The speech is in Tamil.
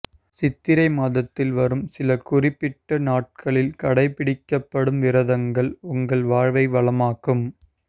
சித்திரை மாதத்தில் வரும் சில குறிப்பிட்ட நாட்களில் கடைபிடிக்கப்படும் விரதங்கள் உங்கள் வாழ்வை வளமாக்கும்